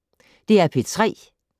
DR P3